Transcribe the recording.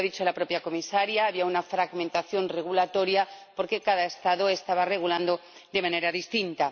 Lo ha dicho la propia comisaria había una fragmentación regulatoria, porque cada Estado estaba regulando de manera distinta.